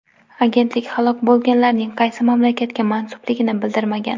Agentlik halok bo‘lganlarning qaysi mamlakatga mansubligini bildirmagan.